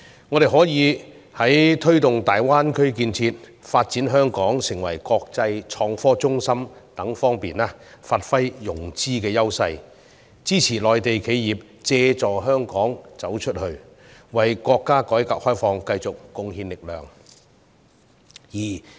我們可以在推動大灣區建設及發展香港成為國際創新科技中心等方面發揮融資優勢，支持內地企業借助香港"走出去"，為國家改革開放繼續貢獻力量。